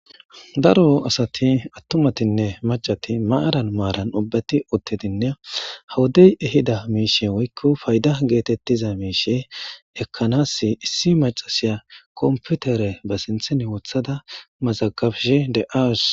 Daro asati atumatnne macat maran maran ubbati utidinne ha wodey ehida mishe woyko payda getetiza mishe ekanas issi macashiya competer be sinthen wothada mazagabashe de'awus